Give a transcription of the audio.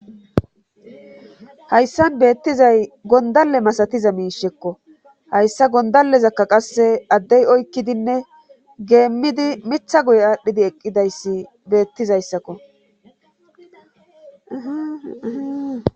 hayssan beettizay gondalle masatiza miishekko hayssa gondallezakka qasse addey oykkidinne geemmidi mitha guye aadhdhidi eqqidayssi beettizayssakko